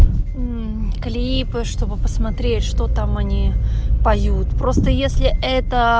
м клипы чтобы посмотреть что там они поют просто если это